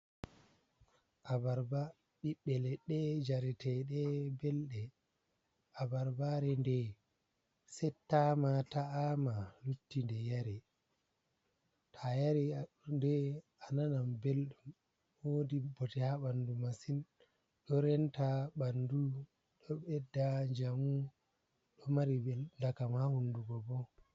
Abarba ɓiɓɓe leɗɗe jaretede belde, abarbare nɗde settama ta’ama lutti ɗe yare, to a yari ɗe a nanam beldum wodi bote ha ɓandu masin, do renta ɓandu do ɓedda njamu, ɗo mari ndakam ha hunduko bo.